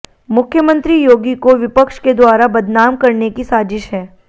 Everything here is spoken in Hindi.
मुख्यमंत्री योगी को विपक्ष के द्वारा बदनाम करने की साजिश है